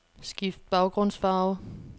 Skift baggrundsfarve.